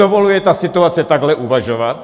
Dovoluje ta situace takhle uvažovat?